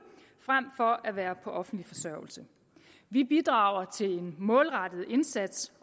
frem for at være på offentlig forsørgelse vi bidrager til en målrettet indsats